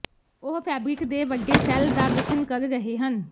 ਉਹ ਫੈਬਰਿਕ ਦੇ ਵੱਡੇ ਸੈੱਲ ਦਾ ਗਠਨ ਕਰ ਰਹੇ ਹਨ